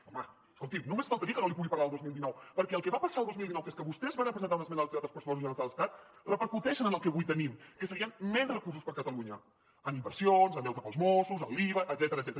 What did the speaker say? home escolti’m només faltaria que no li pogués parlar del dos mil dinou perquè el que va passar el dos mil dinou que és que vostès varen presentar una esmena als pressupostos generals de l’estat repercuteix en el que avui tenim que serien menys recursos per a catalunya en inversions en deute per als mossos en l’iva etcètera